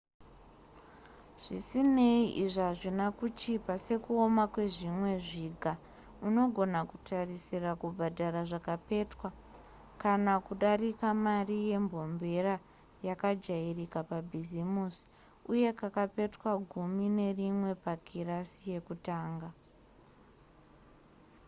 zvisinei izvi hazvina kuchipa:sekuoma kwezvimwe zviga unogona kutarisira kubhadhara zvakapetwa kana kudarika mari yembombera yakajairika pabhizimisi uye kakapetwa gumi nerimwe pakirasi yekutanga!